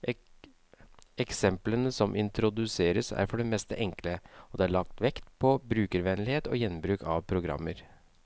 Eksemplene som introduseres, er for det meste enkle, og det er lagt vekt på brukervennlighet og gjenbruk av programmer.